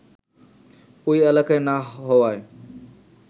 ওই এলাকায় না হওয়ায়